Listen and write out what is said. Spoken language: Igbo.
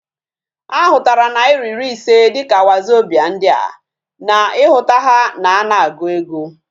Ahutara naira iri ise dika wazobia ndi a, na ihuta ha na ana agu ego